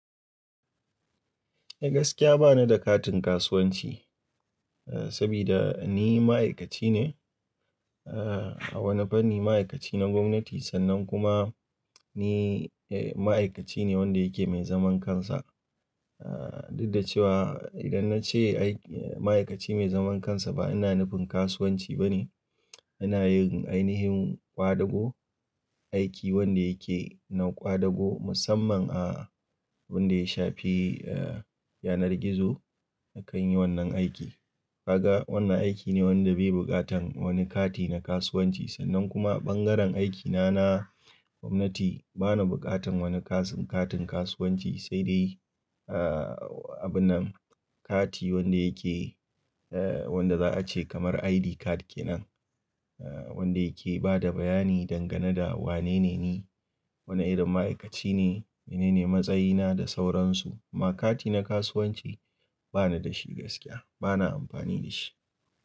Eh gaskiya bana da katin kasuwanci, eh sabida ni ma'aikaci ne, eh a wani fanni ma'aikaci na gwamnati sannan kuma ni eh ma'aikaci ne wanda yake mai zaman kansa. Eh duk da cewa idan na ce aiki ma'aikaci mai zaman kansa ba ina nufin kasuwanci bane. Ina yin ainihin ƙwadago, aiki wanda yake na ƙwadago musamman a wanda ya shafi eh yanar gizo akan yin wannan aiki. Ka ga wannan aiki ne wanda bai buƙatan wani kati na kasuwanci sannan kuma ɓangaren aikina na gwamnati bana buƙatan wani kasu-katin kasuwanci sai dai eh abun nan kati wanda yake eh wanda za a ce kamar ID card kenan. Eh wanda yake bada bayani dangane da wanene ni, wane irin ma'aikaci ne, menene matsayina da sauransu. Ma kati na kasuwanci bana da shi gaskiya bana amfani da shi.